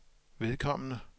vedkommende